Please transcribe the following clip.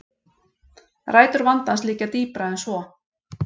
Rætur vandans liggja dýpra en svo